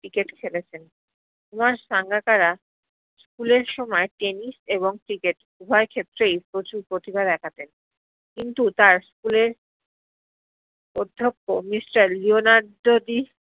cricket খেলেছেন Kumar Sangakkara school এর সময় tennis এবং cricket উভয় ক্ষেত্রেই প্রচুর প্রতিভা দেখাতেন কিন্তু তার school এর অধক্ষ্য mister লিওনার্দো দি